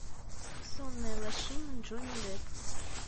сонная лощина джонни депп